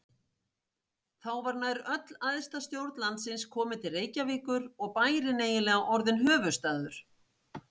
Þá var nær öll æðsta stjórn landsins komin til Reykjavíkur og bærinn eiginlega orðinn höfuðstaður.